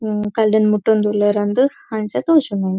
ಉ ಕಲ್ಲ್ ನ್ ಮುಟ್ಟೊಂದು ಉಲ್ಲೆರ್ ಅಂದ್ ಅಂಚ ತೋಜುಂಡು.